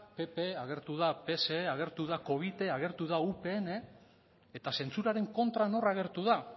pp agertu da pse agertu da covite agertu da upn eta zentsuraren kontra nor agertu da